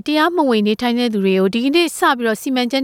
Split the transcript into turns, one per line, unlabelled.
တရားမဝင်နေထိုင်သူတွေကို ဖမ်းဆီးတဲ့စီမံချက်